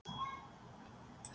Og hvaðan er hópurinn?